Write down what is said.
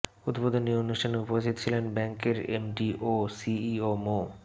উদ্বোধনী অনুষ্ঠানে উপস্থিত ছিলেন ব্যাংকের এমডি ও সিইও মো